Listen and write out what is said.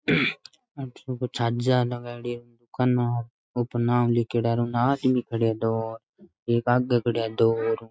छज्जा लगाडी है दूकान है ऊपर नाम लिखोड़ा है और आदमी खड़िया है दो एक आगे खड़ाया है दो और --